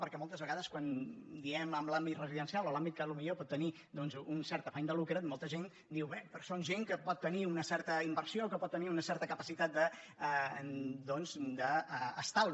perquè moltes vegades quan diem en l’àmbit residencial o l’àmbit que potser pot tenir un cert afany de lucre molta gent diu bé però són gent que pot tenir una certa inversió que pot tenir una cer·ta capacitat d’estalvi